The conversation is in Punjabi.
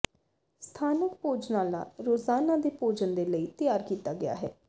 ਸਥਾਨਕ ਭੋਜਨਾਲਾ ਰੋਜ਼ਾਨਾ ਦੇ ਭੋਜਨ ਦੇ ਲਈ ਤਿਆਰ ਕੀਤਾ ਗਿਆ ਹੈ